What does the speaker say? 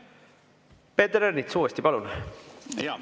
Peeter Ernits uuesti, palun!